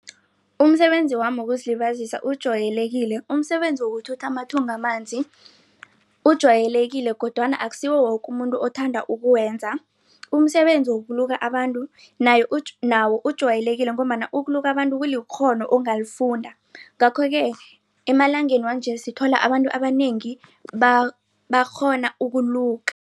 Umsebenzi wami wokuzilibazisa ujwayelekile umsebenzi yokuthutha amathunga amanzi ujwayelekile kodwana akusiwo woke umuntu othanda ukuwenza. Umsebenzi wokuluka abantu nawo ujwayelekile ngombana ukuluka abantu kulikghono ongalifunda. Ngakho-ke emalangeni wanje sithola abantu abanengi bakghona ukuluka.